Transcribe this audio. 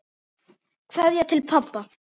Kveðja til pabba.